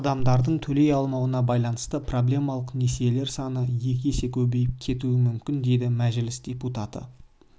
адамдардың төлей алмауына байланысты проблемалық несиелер саны екі есе көбейіп кетуі мүмкін дейді мәжіліс депутаты